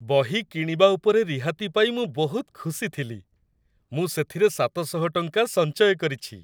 ବହି କିଣିବା ଉପରେ ରିହାତି ପାଇ ମୁଁ ବହୁତ ଖୁସି ଥିଲି। ମୁଁ ସେଥିରେ ସାତ ଶହ ଟଙ୍କା ସଞ୍ଚୟ କରିଛି!